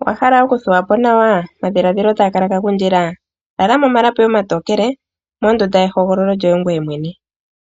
Owahala okuthuwa po nawa? Omadhilaadhilo taga kala gagundjila ? Lala momalapi omatokele mondunda ye hogololo lyoye ngoye mwene.